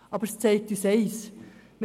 Das zeigt uns vor allem eins: